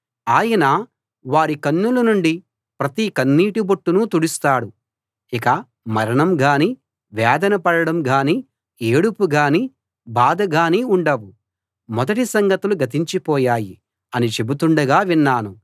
ఆయన వారి కన్నుల నుండి ప్రతి కన్నీటి బొట్టునూ తుడుస్తాడు ఇక మరణం గానీ వేదన పడడం గానీ ఏడుపు గానీ బాధ గానీ ఉండవు మొదటి సంగతులు గతించి పోయాయి అని చెబుతుండగా విన్నాను